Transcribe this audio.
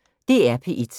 DR P1